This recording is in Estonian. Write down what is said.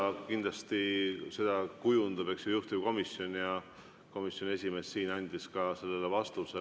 Seda kindlasti kujundab juhtivkomisjon ja komisjoni esimees andis siin ka sellele vastuse.